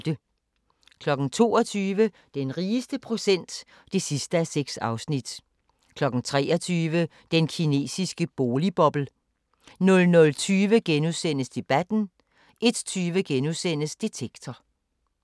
22:00: Den rigeste procent (6:6) 23:00: Den kinesiske boligboble 00:20: Debatten * 01:20: Detektor *